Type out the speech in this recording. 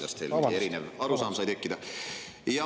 Ma ei saa aru, kuidas teil erinev arusaam sai tekkida.